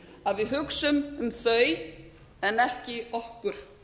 að við hugsum um þau en ekki okkur